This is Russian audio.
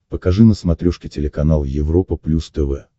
покажи на смотрешке телеканал европа плюс тв